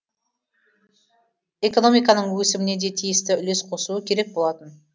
экономиканың өсіміне де тиісті үлес қосуы керек болатын